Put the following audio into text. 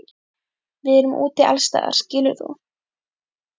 Við erum úti allsstaðar skilur þú?